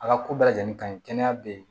A ka ko bɛɛ lajɛlen ka ɲi kɛnɛya bɛ yen